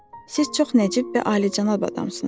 Siz çox nəcib və alicənab adamsınız.